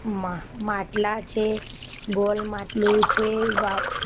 મા માટલા છે ગોલ માટલું છે વાવ.